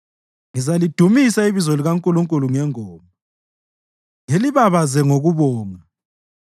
Ngizalidumisa ibizo likaNkulunkulu ngengoma, ngilibabaze ngokubonga.